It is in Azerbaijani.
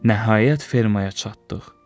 Nəhayət fermaya çatdıq.